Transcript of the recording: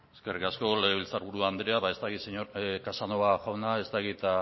eskerrik asko legebiltzarburu andrea ba ez dakit casanova jauna ez dakit